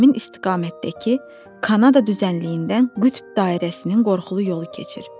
Və həmin istiqamətdəki Kanada düzənliyindən qütb dairəsinin qorxulu yolu keçir.